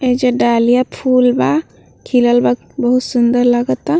ऐजा डालिया फूल बा खिलल बा बहुत सुन्दर लगा ता।